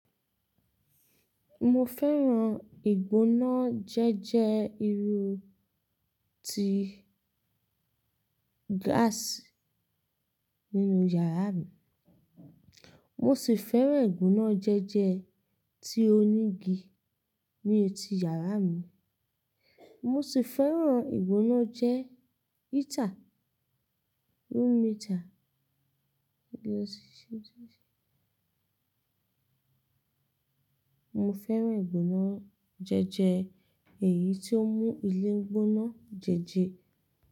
Mo fẹ́ràn ìgbona jẹ́jẹ irú tí gáàsì nínú yàrá mi, mo sì fẹ́ràn ìgbona jẹ́jẹ tí óní igi ní etí yàrá mi, mo sì fẹ́ràn ìgbonajejẹ́ heater, room heater. Mo fẹ́ràn ìgbona jẹ́jẹ èyí tó mú ilé gbóná jẹ́jẹ.